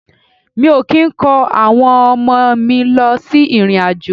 Mi o ki n ko awon omo mi lo si irin-ajo.